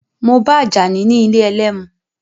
Mo ba Àjàní ní ilé ẹlẹ́mu.